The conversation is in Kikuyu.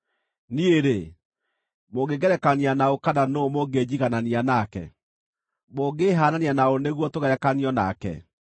“Niĩ-rĩ, mũngĩngerekania na ũ kana nũũ mũngĩnjiganania nake? Mũngĩĩhaanania na ũ nĩguo tũgerekanio nake?